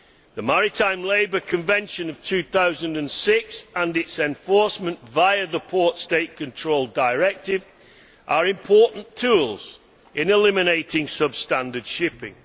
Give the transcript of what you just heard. The Maritime Labour Convention of 2006 and its enforcement via the Port State Control Directive are important tools in eliminating substandard shipping.